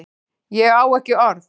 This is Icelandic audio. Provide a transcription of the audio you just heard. Ég á ekki orð